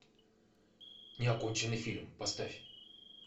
неоконченный фильм поставь